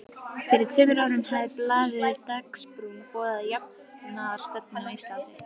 Fyrir tveimur árum hafði blaðið Dagsbrún boðað jafnaðarstefnu á Íslandi.